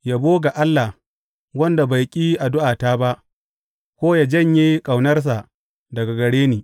Yabo ga Allah, wanda bai ƙi addu’ata ba ko yă janye ƙaunarsa daga gare ni!